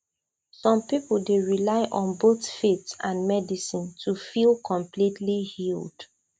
some people dey rely on both faith and medicine to feel completely healed